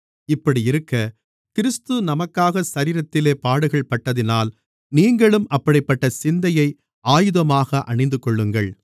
இப்படியிருக்க கிறிஸ்து நமக்காக சரீரத்திலே பாடுகள்பட்டதினால் நீங்களும் அப்படிப்பட்ட சிந்தையை ஆயுதமாக அணிந்துகொள்ளுங்கள்